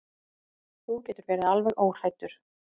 Þú getur verið alveg óhræddur.